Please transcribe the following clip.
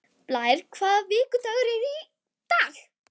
Blær, hvaða vikudagur er í dag?